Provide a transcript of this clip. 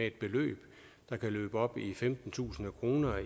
et beløb der kan løbe op i femtentusind kroner